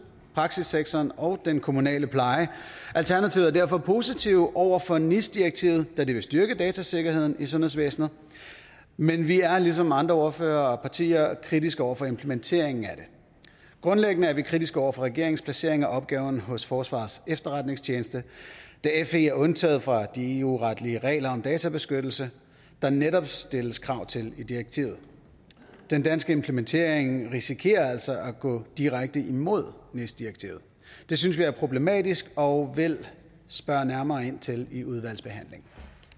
praksissektoren og den kommunale pleje alternativet er derfor positive over for nis direktivet da det vil styrke datasikkerheden i sundhedsvæsenet men vi er ligesom andre ordførere og partier kritiske over for implementeringen af det grundlæggende er vi kritiske over for regeringens placering af opgaven hos forsvarets efterretningstjeneste da fe er undtaget fra de eu retlige regler om databeskyttelse der netop stilles krav til i direktivet den danske implementering risikerer altså at gå direkte imod nis direktivet det synes vi er problematisk og vil spørge nærmere ind til i udvalgsbehandlingen